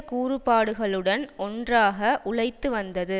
கூறுபாடுகளுடன் ஒன்றாக உழைத்து வந்தது